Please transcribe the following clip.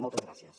moltes gràcies